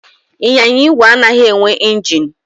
Ịnyịnya igwe anaghị enwe ingin.